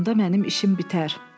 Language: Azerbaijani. Onda mənim işim bitər.